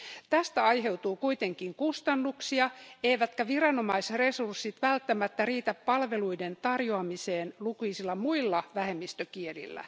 Tästä aiheutuu kuitenkin kustannuksia eivätkä viranomaisresurssit välttämättä riitä palveluiden tarjoamiseen lukuisilla muilla vähemmistökielillä.